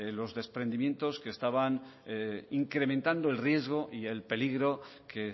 los desprendimientos que estaban incrementando el riesgo y el peligro que